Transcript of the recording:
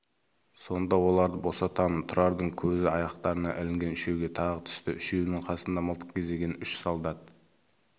сонда оларды босатамын тұрардың көзі аяқтарынан ілінген үшеуге тағы түсті үшеуінің қасында мылтық кезеген үш солдат